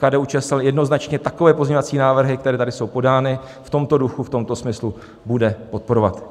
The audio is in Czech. KDU-ČSL jednoznačně takové pozměňovací návrhy, které tady jsou podány v tomto duchu, v tomto smyslu, bude podporovat.